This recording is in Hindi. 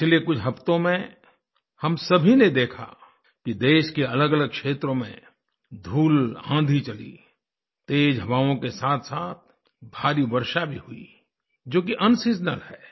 पिछले कुछ हफ़्तों में हम सभी ने देखा कि देश के अलगअलग क्षेत्रों में धूलआँधी चली तेज़ हवाओं के साथसाथ भारी वर्षा भी हुई जो कि अनसीजनल है